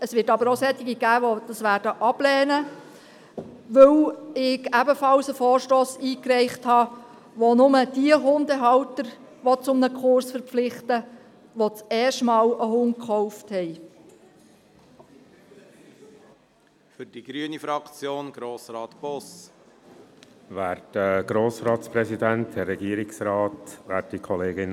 Es wird aber auch solche geben, die ihn ablehnen werden, weil ich ebenfalls einen Vorstoss eingereicht habe, der nur diejenigen Hundehalter zu einem Kurs verpflichten will, die zum ersten Mal einen Hund gekauft haben.